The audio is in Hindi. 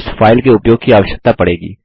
इस फाइल के उपयोग की आवश्यकता पड़ेगी